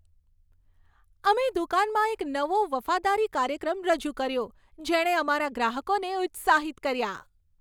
અમે દુકાનમાં એક નવો વફાદારી કાર્યક્રમ રજૂ કર્યો, જેણે અમારા ગ્રાહકોને ઉત્સાહિત કર્યા.